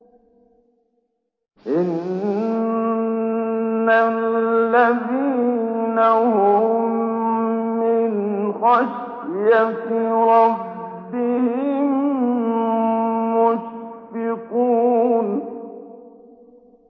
إِنَّ الَّذِينَ هُم مِّنْ خَشْيَةِ رَبِّهِم مُّشْفِقُونَ